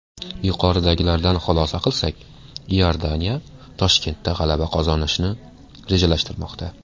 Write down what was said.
Yuqoridagilardan xulosa qilsak, Iordaniya Toshkentda g‘alaba qozonishni rejalashtirmoqda.